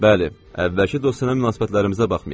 Bəli, əvvəlki dostyana münasibətlərimizə baxmayaraq.